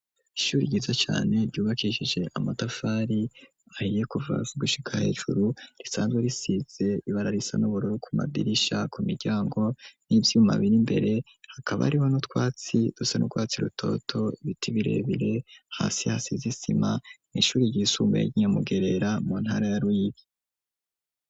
Ishuri ryiza cane ryubakishije amatafari ahiye, kuva hasi gushika hejuru, risanzwe risize ibara risa n'ubururu ku madirisha ku miryango n'ivyuma biri imbere, hakaba hariho n'u twatsi dusa nurwatsi rutoto, Ibiti birebire, hasi hasize isima n ishuri ry'isumbuye ry'inyamugerera mu ntara ya Ruyigi.